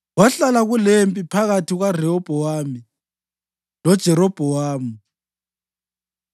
Kwahlala kulempi phakathi kukaRehobhowami loJerobhowamu.